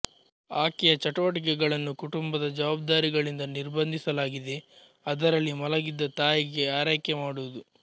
ಆಕೆಯ ಚಟುವಟಿಕೆಗಳನ್ನು ಕುಟುಂಬದ ಜವಾಬ್ದಾರಿಗಳಿಂದ ನಿರ್ಬಂಧಿಸಲಾಗಿದೆ ಅದರಲ್ಲಿ ಮಲಗಿದ್ದ ತಾಯಿಗೆ ಆರೈಕೆ ಮಾಡುವುದು